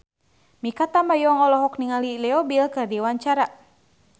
Mikha Tambayong olohok ningali Leo Bill keur diwawancara